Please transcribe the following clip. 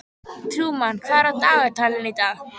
Trúmann, hvað er á dagatalinu í dag?